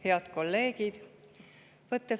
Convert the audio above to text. Head kolleegid!